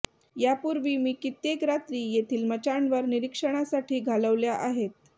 या पूर्वी मी कित्येक रात्री येथील मचाणवर निरीक्षणासाठी घालवल्या आहेत